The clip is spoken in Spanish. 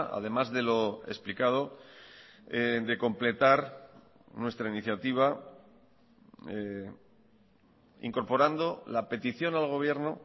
además de lo explicado de completar nuestra iniciativa incorporando la petición al gobierno